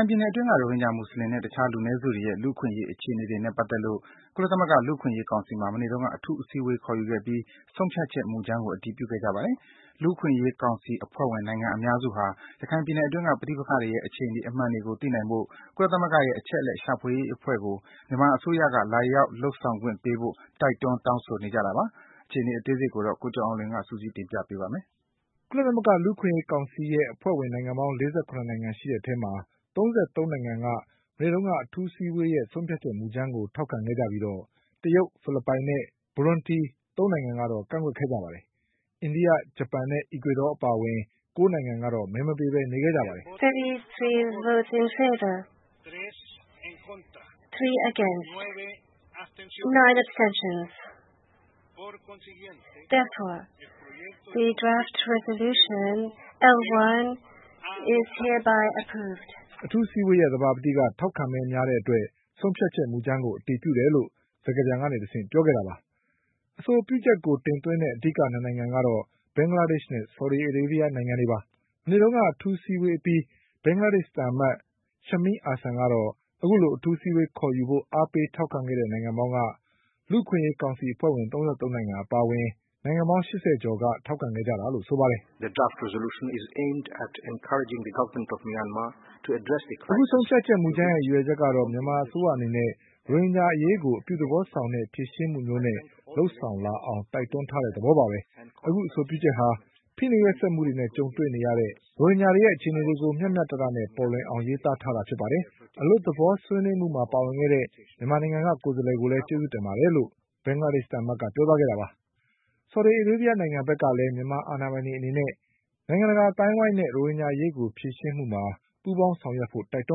င်ပြည်နယ်အတွင်းက ရိုဟင်ဂျာ မူဆလင်နဲ့ တခြား လူနည်းစုတွေရဲ့ လူ့အခွင့်အရေး အခြေအနေတွေနဲ့ ပတ်သက်လို့ ကုလသမဂ္ဂ လူ့အခွင့်အရေး ကောင်စီမှာ မနေ့တုန်းက အထူးအစည်းအဝေး ခေါ်ယူခဲ့ပြီး ဆုံးဖြတ်ချက်မူကြမ်းကို အတည်ပြုခဲ့ကြပါတယ်။ လူ့အခွင့်အရေး ကောင်စီ အဖွဲ့ဝင်နိုင်ငံ အများစုဟာ ရခိုင်ပြည်နယ်အတွင်းက ပဋိပက္ခတွေရဲ့ အခြေအနေမှန်တွေကို သိနိုင်ဖို့ ကုလသမဂ္ဂရဲ့ အချက်အလက် ရှာဖွေရေးအဖွဲ့ကို မြန်မာအစိုးရက လာရောက်လုပ်ဆောင်ခွင့်ပေးဖို့ တိုက်တွန်း တောင်းဆိုနေကြတာပါ။ အခြေအနေတွေကို ကိုကျော်အောင်လွင်က ပြောပြပါလိမ့်မယ်။ ကုလသမဂ္ဂ လူ့အခွင့်အရေးကောင်စီ အဖွဲ့ဝင်နိုင်ငံပေါင်း ၄၇ နိုင်ငံ ရှိတဲ့အထဲမှာ ၃၃ နိုင်ငံက မနေ့က အထူးအစည်းအဝေးရဲ့ ဆုံးဖြတ်ချက် မူကြမ်းကို ထောက်ခံခဲ့ကြပြီး တရုတ်၊ ဖိလစ်ပိုင်နဲ့ ဘူရွန်တီ ၃ နိုင်ငံကတော့ ကန့်ကွက်ခဲ့ကြပါတယ်။ အိန္ဒိယ၊ ဂျပန်နဲ့ အီကွေဒေါ အပါအဝင် ၉ နိုင်ငံက ကြားနေခဲ့ကြပါတယ်။ အထူးအစည်းအဝေးရဲ့ သဘာပတိ ထောက်ခံမဲများတဲ့ အတွက် ဆုံးဖြတ်ချက်မူကြမ်းကို အတည်ပြုတယ်လို့ စကားပြန်ကနေတဆင့် ပြောခဲ့တာပါ။ အဆိုပြုချက်ကို တင်သွင်းတဲ့ အဓိက ၂နိုင်ငံကတော့ ဘင်္ဂလားဒေ့ချ်နဲ့ ဆော်ဒီအာရေးဗျနိုင်ငံတွေပါ။ မနေ့က အထူးအစည်းအဝေး အပြီး ဘင်္ဂလားဒေ့ချ်သံအမတ် Shameem Ahsan ကတော့ အခုလို အထူးအစည်းအဝေး ခေါ်ယူဖို့ အားပေးထောက်ခံတဲ့ နိုင်ငံပေါင်းက လူ့အခွင့်အရေးကောင်စီ အဖွဲ့ဝင် ၃၃ နိုင်ငံ အပါအဝင် နိုင်ငံပေါင်း ၈၀ ကျော်က ထောက်ခံခဲ့တာလို့ ဆိုပါတယ်။ “ အခုဆုံးဖြတ်ချက် မူကြမ်းရဲ့ ရည်ရွယ်ချက်ကတော့ မြန်မာအစိုးရအနေနဲ့ ရိုဟင်ဂျာ အရေးကို အပြုသဘောဆောင်တဲ့ ဖြေ ရှင်းမှုမျိုးနဲ့ လုပ်ဆောင်လာအောင် တိုက်တွန်းတဲ့ သဘောပါပဲ။ အခုအဆိုပြုချက်ဟာ ဖိနှိပ်ရက်စက်မှုတွေနဲ့ ကြုံတွေ့နေရ တဲ့ ရိုဟင်ဂျာတွေရဲ့ အခြေအနေတွေကို မျှမျှတတနဲ့ ပေါ်လွင်အောင် ရေးသားထားတာပါ။ အလွတ်သဘော ဆွေးနွေးမှုမှာ ပါဝင်ခဲ့တဲ့ မြန်မာနိုင်ငံက ကိုယ်စားလှယ်ကိုလည်း ကျေးဇူးတင်ပါတယ်လို့ ပြောသွားခဲ့တာပါ။” ဆော်ဒီအာရေးဗျနိုင်ငံ ဘက်ကလည်း မြန်မာအာဏာပိုင်တွေ အနေနဲ့ နိုင်ငံတကာ အသိုင်းအဝိုင်းနဲ့ ရိုဟင်ဂျာအရေး ဖြေရှင်းမှုမှာ ပူးပေါင်းဆောင်ရွက်ဖို့ တိုက်တွ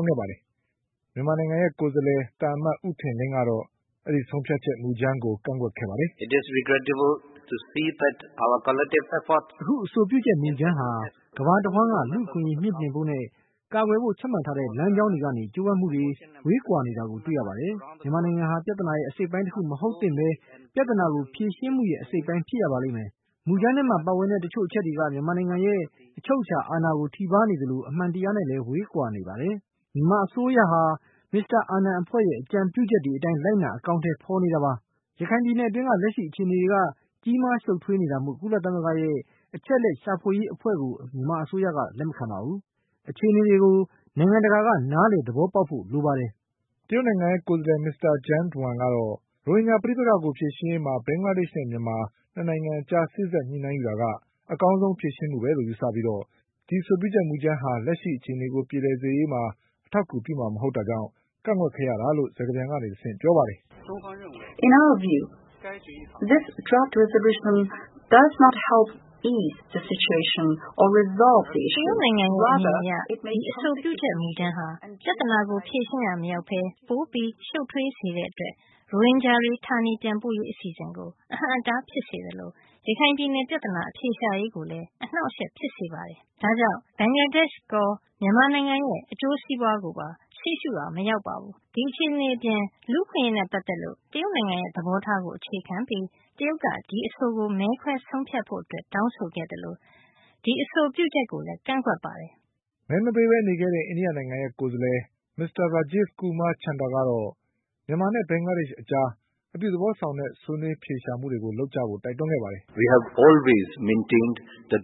န်းခဲ့ပါတယ်။ မြန်မာနိုင်ငံရဲ့ ကိုယ်စားလှယ် သံအမတ် ဦးထင်လင်းကတော့ ဆုံးဖြတ်ချက်မူကြမ်းကို ကန့်ကွက်ခဲ့ပါတယ်။ “ အခု အဆိုပြုချက်မူကြမ်းဟာ ကမ္ဘာတဝှမ်းက လူ့အခွင့်အရေး မြှင့်တင်ဖို့နဲ့ ကာကွယ်ဖို့ ချမှတ်ထားတဲ့ လမ်းကြောင်းတွေက ကြိုးပမ်းမှုတွေနဲ့ ဝေးကွာနေတာကို တွေ့ရပါတယ်။ မြန်မာနိုင်ငံဟာ ပြဿနာရဲ့ အစိတ်အပိုင်းတခု မဟုတ်သင့်ဘဲ ပြဿနာကို ဖြေရှင်းမှုရဲ့ အစိတ် အပိုင်း ဖြစ်ရပါလိမ့်မယ်။ မူကြမ်းထဲမှာ ပါဝင်တဲ့ တချို့အချက်တွေက မြန်မာနိုင်ငံရဲ့ အချုပ်အချာ အာဏာကို ထိပါးနေသလို အမှန်တရားနဲ့လည်း ဝေးကွာနေပါတယ်။ မြန်မာအစိုးရဟာ မစ္စတာ အာနန်အဖွဲ့ရဲ့အကြံပြုချက် တွေအတိုင်းလိုက်နာအကောင်အထည်ဖေါ်နေတာပါ။ ရခိုင်ပြည်နယ်အတွင်းကလက်ရှိအခြေအနေတွေက ကြီးမားရှုပ် ထွေးနေတာမို့ ကုလသမဂ္ဂရဲ့ အချက်အလက်ရှာဖွေရေးအဖွဲ့ကို မြန်မာအစိုးရကလက်မခံပါဘူး။ ဒီအခြေအနေတွေကို နိုင်ငံတကာက နားလည်သဘောပေါက်ဖို့လိုပါတယ်။” တရုတ်နိုင်ငံရဲ့ ကိုယ်စားလှယ် မစ္စတာ Jiang Duan ကတော့ ရိုဟင်ဂျာပဋိက္ခကို ဖြေရှင်းရေးမှာ ဘင်္ဂလားဒေ့ချ်နဲ့ မြန် မာ၂နိုင်ငံအကြား စေ့စပ် ညှိနှိုင်းယူတာကအကောင်းဆုံးဖြေရှင်းမှုလို့ယူဆပြီး ဒီအဆိုပြုချက်မူကြမ်းဟာလက်ရှိ အခြေ အနေကို ပြေလည်စေရေး အထောက်အကူပြုမှာမဟုတ်တာကြောင့် ကန့်ကွက်ရတာလို့ စကားပြန်ကတဆင့်ပြောပါတယ်။ “ တရုတ်နိုင်ငံရဲ့ အမြင်အရ ဒီ အဆိုပြုချက် မူကြမ်းဟာ ပြသနာကို ဖြေရှင်းရာ မရောက်ဘဲ ပိုပြီး ရှုပ်ထွေးစေတဲ့ အတွက် ရိုဟင်ဂျာတွေ ဌာနေပြန်ပို့ရေး အစီအစဉ်ကို အဟန့်အတား ဖြစ်စေသလို ရခိုင်ပြည်နယ် ပြသနာ အဖြေရှာရေးကိုလည်း အနှောင့်အယှက် ဖြစ်စေပါတယ်။ ဒါကြောင့် ဘင်္ဂလားဒေရှ့်ရော မြန်မာနိုင်ငံရဲ့ အကျိုးစီးပွားကိုပါ ရှေ့ရှုရာ မရောက်ပါဘူး။ ဒီအခြေအနေ အပြင် လူ့အခွင့်အရေးနဲ့ ပတ်သက်လို့ တရုတ်နိုင်ငံရဲ့ သဘောထားကို အခြေခံပြီး တရုတ်က ဒီအဆိုကို မဲခွဲဆုံးဖြတ်ဖို့ အတွက် တောင်းဆိုခဲ့သလို ဒီအဆိုပြုချက်ကိုလည်း ကန့်ကွက်ပါတယ်။” ကြားနေခဲ့တဲ့ အိန္ဒိယနိုင်ငံရဲ့ ကိုယ်စားလှယ် Mr. Rajiv Kumar Chander ကတော့ မြန်မာနဲ့ ဘင်္ဂလားဒေ့ချ် အကြားအပြု သဘောဆောင်တဲ့ ဆွေးနွေးအဖြေရှာမှုတွေ လုပ်ကြဖို့ တိုက်တွန်းခဲ့ပါတယ်။ “လူ့အခွင့်အရေးကို ထောက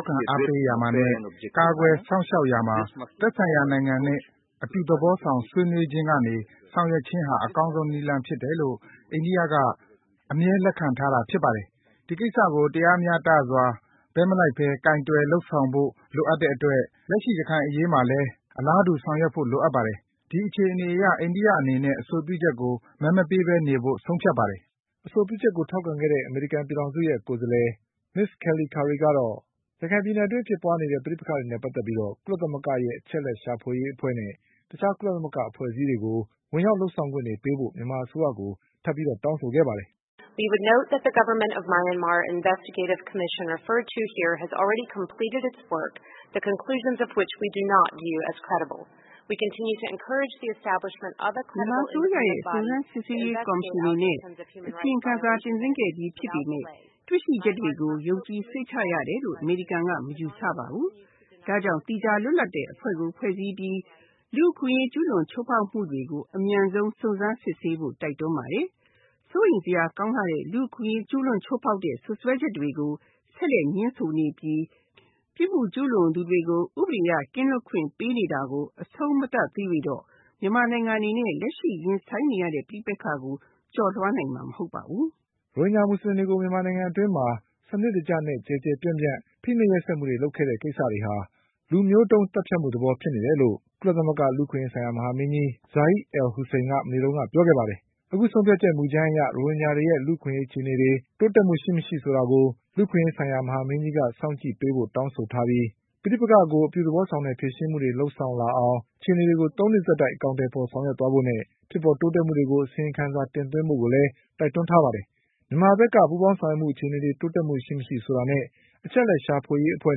်ခံအားပေးရာမှာလည်း ကာကွယ်စောင့်ရှောက်ရာမှာ သက်ဆိုင်ရာ နိုင်ငံနဲ့ အပြုသဘောဆောင် ဆွေးနွေးခြင်းကနေ ဆောင်ရွက်ခြင်းက အကောင်းဆုံး နည်းလမ်းဖြစ်တယ်လို့ အိန္ဒိယက အမြဲလက်ခံထားတာ ဖြစ်ပါတယ်။ ဒီကိစ္စကို တရားမ ျှတစွာ ဘက်မလိုက်ဘဲ ကိုင်တွယ် လုပ်ဆောင်ဖို့ လိုအပ်တဲ့ အတွက် လက်ရှိ ရခိုင်အရေးမှာလည်း အလားတူ ဆောင်ရွက်ဖို့ လိုအပ်ပါတယ်။ ဒီအခြေအနေ အရ အိန္ဒိယအနေနဲ့ အဆိုပြုချက်နဲ့ပတ်သက်ပြီး ကြားနေဖို့ ဆုံးဖြတ်ပါတယ်။” အဆိုပြုချက်ကို ထောက်ခံခဲ့တဲ့ အမေရိကန်ကိုယ်စားလှယ် Ms. Kelly Currie ကတော့ ရခိုင်ပြည်နယ် အတွင်း ဖြစ်ပွါးနေတဲ့ ပဋိပက္ခတွေနဲ့ ပတ်သက်ပြီး ကုလသမဂ္ဂရဲ့ အချက်အလက် ရှာဖွေရေး အဖွဲ့နဲ့တခြား ကုလသမဂ္ဂ အဖွဲ့အစည်းတွေကို ဝင်ရောက်လုပ်ဆောင်ခွင့် ပေးဖို့ မြန်မာအစိုးရကို ထပ်ပြီး တောင်းဆိုခဲ့ပါတယ်။ “မြန်မာအစိုးရရဲ့ စုံစမ်းစစ်ဆေးရေး ကော်မရှင် အနေနဲ့ အစီရင်ခံစာ တင်သွင်းခဲ့ပြီး ဖြစ်ပေမယ့် တွေ့ရှိချက်တွေကို ယုံကြည် စိတ်ချရတယ်လို့ အမေရိကန်က မယူဆပါဘူး။ ဒါကြောင့် သီးခြား လွတ်လပ်တဲ့ အဖွဲ့ကို ဖွဲ့စည်းပြီး လူ့အခွင့်အရေး ကျူးလွန် ချိုးဖောက်မှုတွေကို အမြန်ဆုံး စုံစမ်းစစ်ဆေးဖို့ တိုက်တွန်းပါတယ်။ စိုးရိမ်စရာ ကောင်းလှတဲ့ လူ့အခွင့်အရေး ကျူးလွန် ချိုးဖောက်တဲ့ စွပ်စွဲချက်တွေကို ဆက်လက် ငြင်းဆိုနေပြီး ပြစ်မှုကျူးလွန်သူတွေကို ဥပဒေက ကင်းလွတ်ခွင့် ပေးနေတာကို အဆုံးမသတ်သရွေ့တော့ မြန်မာနိုင်ငံ အနေနဲ့ လက်ရှိ ရင်ဆိုင်နေရတဲ့ ပဋိပက္ခကို ကျော်လွှားနိုင်မှာ မဟုတ်ပါဘူး။ ” ရိုဟင်ဂျာ မူဆလင်တွေကို မြန်မာနိုင်ငံအတွင်းမှာ စနစ်တကျနဲ့ ကျယ်ကျယ်ပြန့်ပြန့် ဖိနှိပ်ရက်စက်မှုတွေ လုပ်ခဲ့တဲ့ကိစ္စတွေ ဟာ လူမျိုးတုန်းသတ်ဖြတ်မှု သဘောမျိုးဖြစ်နေတယ်လို့ ကုလသမဂ္ဂ လူ့အခွင့်အရေးဆိုင်ရာ မဟာမင်းကြီး Zeid Al Hussein က မနေ့ကပဲ ပြောခဲ့ပါတယ်။ အခုဆုံးဖြတ်ချက် မူကြမ်းအရ ရိုဟင်ဂျာတွေရဲ့ လူ့အခွင့်အရေး အခြေအနေတွေ တိုးတက်မှုရှိမရှိကို လူ့အခွင့်အရေးဆိုင်ရာ မဟာမင်းကြီးက စောင့်ကြည့် ပေးဖို့တောင်းဆိုခဲ့ပြီး၊ ပဋိပက္ခကို အပြုသဘောဆောင်တဲ့ ဖြေရှင်းမှုတွေ လုပ်ဆောင်လာအောင် အခြေအနေတွေကို ၃နှစ်ဆက်တိုက် အကောင်အထည်ဖေါ် ဆောင်ရွက်သွားဖို့နဲ့ ဖြစ်ပေါ်တိုးတက်မှုတွေကို အစီရင်ခံစာ တင်းသွင်းဖို့ကိုလည်း တိုက်တွန်းထားပါတယ်။ မြန်မာဘက်က ပူးပေါင်းဆောင်ရွက်မှု အခြေအနေ တိုးတက်မှု ရှိမရှိဆိုတာနဲ့ အချက်အလက်ရှာဖွေရေး အဖွဲ့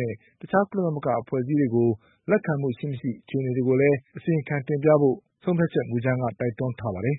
နဲ့ တခြား ကုလသမဂ္ဂ အဖွဲ့အစည်းတွေကို လက်ခံမှုရှိမရှိ အခြေအနေတွေကိုလည်း အစီရင်ခံ တင်ပြဖို့ တိုက်တွန်းထားပါတယ်